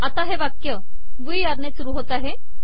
आता हे वाक्य वुई आर ने सुरू होते आहे